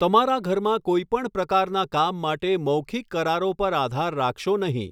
તમારા ઘરમાં કોઈપણ પ્રકારના કામ માટે મૌખિક કરારો પર આધાર રાખશો નહીં.